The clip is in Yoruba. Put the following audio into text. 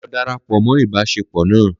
Lọ darapọ mọ ibaṣepọ na